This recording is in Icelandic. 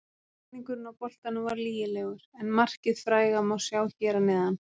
Snúningurinn á boltanum var lygilegur, en markið fræga má sjá hér að neðan.